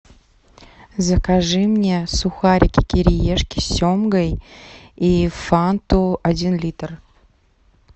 закажи мне сухарики кириешки с семгой и фанту один литр